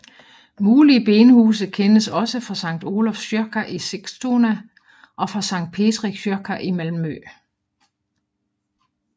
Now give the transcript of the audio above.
Mulige benhuse kendes også fra Skt Olofs kyrka i Sigtuna og fra Skt Petri kyrka i Malmø